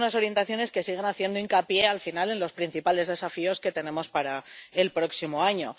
Son unas orientaciones que siguen haciendo hincapié en los principales desafíos que tenemos para el próximo año.